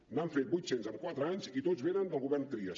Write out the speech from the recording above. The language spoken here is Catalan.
n’han fet vuit cents en quatre anys i tots venen del govern trias